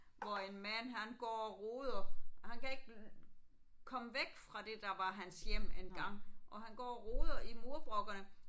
Hvor en mand han går og roder og han kan ikke komme væk fra det der var hans hjem engang og han går og roder i murbrokkerne